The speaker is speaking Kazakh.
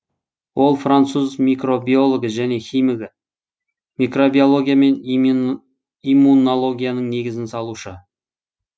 ол француз микробиологы және химигі микробиология мен иммунологияның негізін салушы